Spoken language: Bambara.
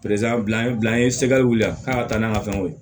bila an ye bila an ye wuli a kan ka taa n'an ka fɛnw ye